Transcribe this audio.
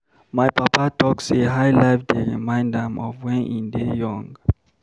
My papa talk sey high-life dey remind am of wen im dey young.